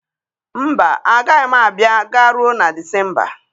Mba, agaghị m abịa garuo na Disemba.